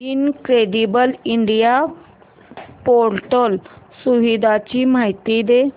incredible India portal सुविधांची माहिती दे